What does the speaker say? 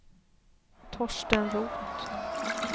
Torsten Roth